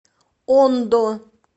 ондо